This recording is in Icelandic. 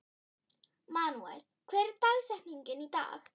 Manuel, hver er dagsetningin í dag?